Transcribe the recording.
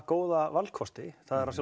góða valkosti það er